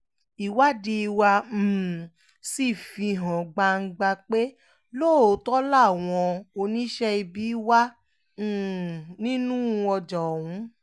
ìwádìí wa um sì fi hàn gbangba pé lóòótọ́ làwọn oníṣẹ́ ibi wà um nínú ọjà ọ̀hún